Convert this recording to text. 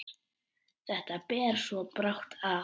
Þetta ber svo brátt að.